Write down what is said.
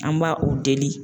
An b'a u deli